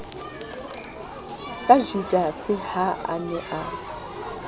ka judase ha a ne